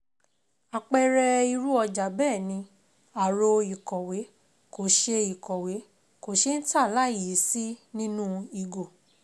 Àpẹẹrẹ irú ọjà bẹ́ẹ̀ ni, aró ìkọ̀wé, kò ṣé ìkọ̀wé, kò ṣé ń tà láìyí sí nínú ìgò.